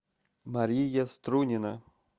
мария струнина